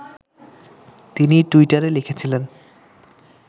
তিনি টুইটারে লিখেছিলেন